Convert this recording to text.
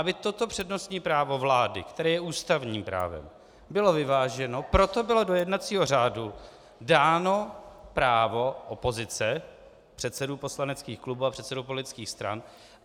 Aby toto přednostní právo vlády, které je ústavním právem, bylo vyváženo, proto bylo do jednacího řádu dáno právo opozice, předsedů poslaneckých klubů a předsedů politických stran.